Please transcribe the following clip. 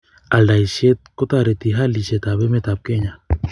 aldaishet ko tareti halishet ab emet ab kenya